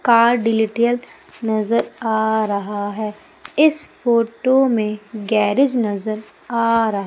Car डिलिटियल नजर आ रहा है। इस फोटो में गैरेज नजर आ रहा--